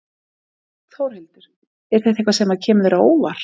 Þórhildur: Er þetta eitthvað sem að kemur þér á óvart?